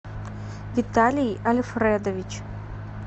виталий альфредович